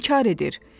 O inkar edir.